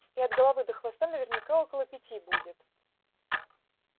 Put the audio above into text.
и от головы до хвоста наверняка около пяти будет